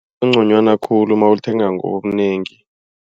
Kungconywana khulu nawulithenga ngobunengi.